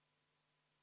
Palju õnne selle eest!